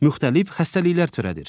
Müxtəlif xəstəlikler törədir.